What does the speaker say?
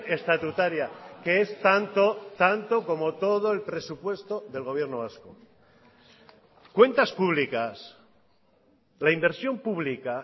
estatutaria que es tanto tanto como todo el presupuesto del gobierno vasco cuentas públicas la inversión pública